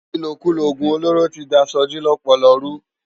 Ilókúló ógún ólóró ti dá Soji lòpòlò rú